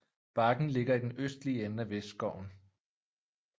Bakken ligger i den østlige ende af Vestskoven